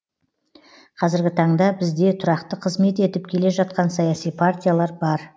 қазіргі таңда бізде тұрақты қызмет етіп келе жатқан саяси партиялар бар